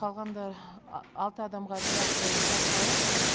қалғанда алты адамға операция жасалып